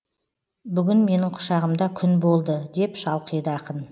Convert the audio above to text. бүгін менің құшағымда күн болды деп шалқиды ақын